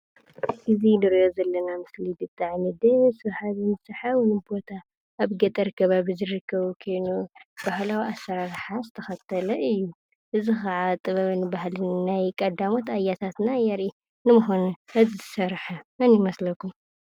እዚ ንሪኦ ዘለና ምስሊ ብጣዕሚ ደስ በሃልን ስሓብን ቦታ ኣብ ገጠር ከባቢ ዝርከብ ኮይኑ ባህላዊ ኣሰራርሓ ዝተከተለ እዩ። እዚ ከዓ ጥበብን ባህልን ናይ ቀዳሞት ኣያታትና የርኢ። ንምኳኑ እዚ ዝሰርሓ መን ይመስለኩም?